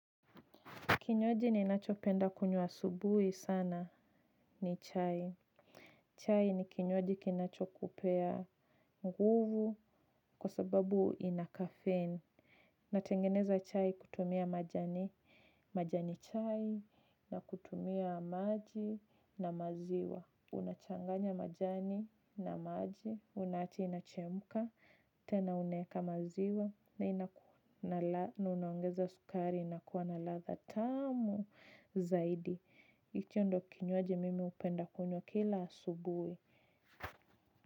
Kinywaji ninacho penda kunywa asubuhi sana ni chai. Chai ni kinywaji kinacho kupea nguvu kwa sababu inakafein. Natengeneza chai kutumia majani. Majani chai na kutumia maji na maziwa. Unachanganya majani na maji. Unawacha inachemka. Tena unaweka maziwa. Na ina unangeza sukari na kuana latha tamu. Zaidi. Hicho ndio kinywaji mimi hupenda kunywa kila asubuhi.